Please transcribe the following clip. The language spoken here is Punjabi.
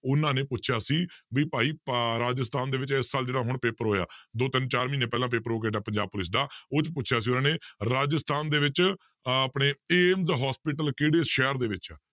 ਉਹਨਾਂ ਨੇ ਪੁੱਛਿਆ ਸੀ ਵੀ ਭਾਈ ਅਹ ਰਾਜਸਥਾਨ ਦੇ ਵਿੱਚ ਇਸ ਸਾਲ ਜਿਹੜਾ ਹੁਣ ਪੇਪਰ ਹੋਇਆ, ਦੋ ਤਿੰਨ ਚਾਰ ਮਹੀਨੇ ਪਹਿਲਾਂ ਪੇਪਰ ਹੋ ਕੇ ਹਟਿਆ ਪੰਜਾਬ ਪੁਲਿਸ ਦਾ ਉਹ 'ਚ ਪੁੱਛਿਆ ਸੀ ਉਹਨਾਂ ਨੇ ਰਾਜਸਥਾਨ ਦੇ ਵਿੱਚ ਅਹ ਆਪਣੇ ਏਮਜ hospital ਕਿਹੜੇ ਸ਼ਹਿਰ ਦੇ ਵਿੱਚ ਹੈ